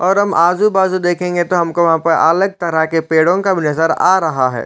और हम आजु- बाजु देखेंगे तो हमको वहाँ पर अलग तरह के पेड़ों का नजर आ रहा हैं।